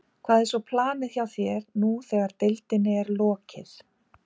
Hvað er svo planið hjá þér nú þegar deildinni er lokið?